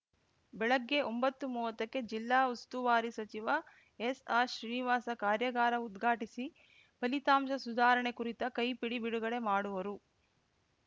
ಬೆಳಗ್ಗೆ ಒಂಬತ್ತುಮುವತ್ತಕ್ಕೆ ಜಿಲ್ಲಾ ಉಸ್ತುವಾರಿ ಸಚಿವ ಎಸ್‌ಆರ್‌ಶ್ರೀನಿವಾಸ ಕಾರ್ಯಾಗಾರ ಉದ್ಘಾಟಿಸಿ ಫಲಿತಾಂಶ ಸುಧಾರಣೆ ಕುರಿತ ಕೈಪಿಡಿ ಬಿಡುಗಡೆ ಮಾಡುವರು